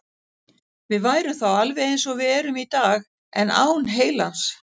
Við værum þá alveg eins og við erum í dag, en án heilans.